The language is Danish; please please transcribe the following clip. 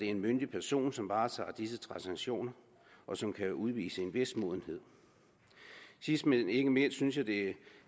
en myndig person som varetager disse transaktioner og som kan udvise en vis modenhed sidst men ikke mindst synes jeg at